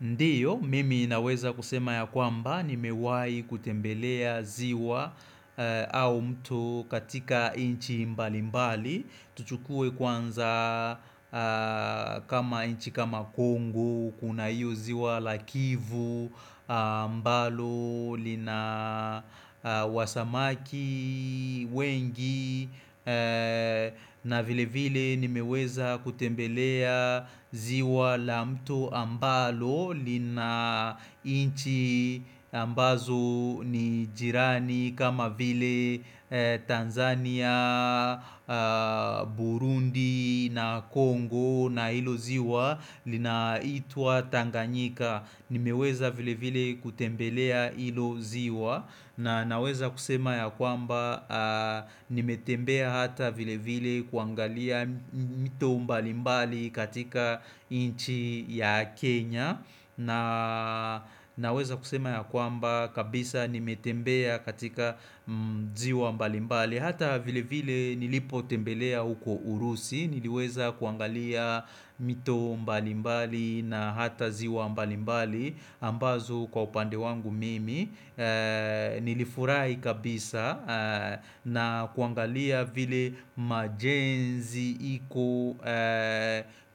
Ndiyo, mimi inaweza kusema ya kwamba nimewai kutembelea ziwa au mto katika inchi mbali mbali. Tuchukue kwanza kama inchi kama Kongo Kuna hiyo ziwa la kivu ambalo lina wasamaki wengi na vile vile nimeweza kutembelea ziwa la mto ambalo lina inchi ambazo ni jirani kama vile Tanzania, Burundi na Kongo na ilo ziwa Linaitwa Tanganyika Nimeweza vile vile kutembelea ilo ziwa na naweza kusema ya kwamba nimetembea hata vilevile kuangalia mto mbalimbali katika inchi ya Kenya na weza kusema ya kwamba kabisa nimetembea katika ziwa mbalimbali Hata vilevile nilipotembelea huko urusi Niliweza kuangalia mito mbalimbali na hata ziwa mbalimbali ambazo kwa upande wangu mimi nilifurai kabisa na kuangalia vile majenzi iko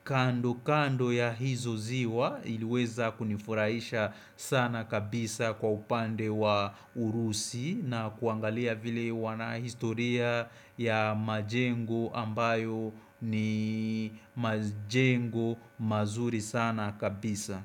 kando kando ya hizo ziwa iliweza kunifuraisha sana kabisa kwa upande wa urusi na kuangalia vile wanahistoria ya majengo ambayo ni majengo mazuri sana kabisa.